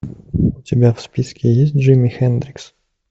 у тебя в списке есть джимми хендрикс